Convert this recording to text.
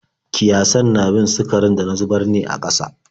Kiyasan na bin sukarin da na zubar ne a ƙasa.